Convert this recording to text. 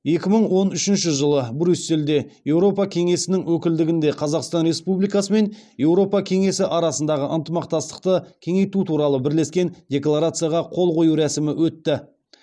екі мың он үшінші жылы брюссельде еуропа кеңесінің өкілдігінде қазақстан республикасы мен еуропа кеңесі арасындағы ынтымақтастықты кеңейту туралы бірлескен декларацияға қол қою рәсімі өтті